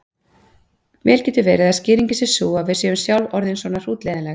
Vel getur verið að skýringin sé sú að við séum sjálf orðin svona hrútleiðinleg.